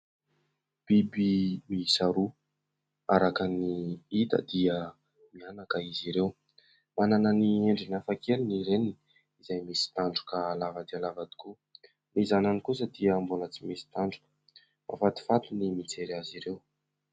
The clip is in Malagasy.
Biby miisa roa araka ny ita dia mianaka izy ireo. Manana ny endriny hafa keli ny reniny izay misy tandroka lava dia lava tokoa ny zanany kosa dia mbola tsy misy tandroka mafatifaty ny mijery azy ireo.